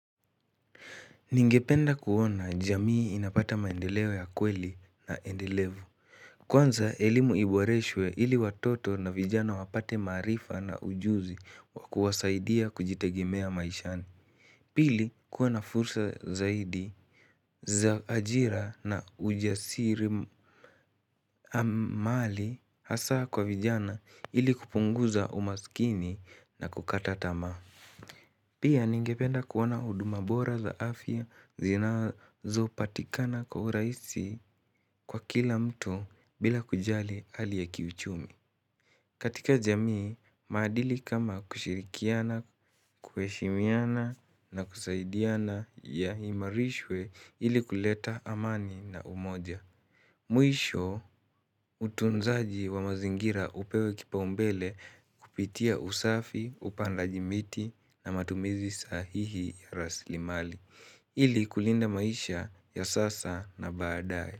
Ningependa kuona jamii inapata maendeleo ya kweli na endelevu. Kwanza, elimu iboreshwe ili watoto na vijana wapate maarifsa na ujuzi wakuwasaidia kujitegimea maishani. Pili, kuwa na fursa zaidi za ajira na ujasiri amali hasaa kwa vijana ili kupunguza umaskini na kukata tamaa. Pia ningependa kuona huduma bora za afya zinazopatikana kwa uraisi kwa kila mtu bila kujali hali ya kiuchumi. Katika jamii, maadili kama kushirikiana, kuheshimiana na kusaidiana yaimarishwe ili kuleta amani na umoja. Mwisho utunzaji wa mazingira upewe kipau umbele kupitia usafi, upandaji miti na matumizi sahihi ya rasli mali. Ili kulinda maisha ya sasa na baadae.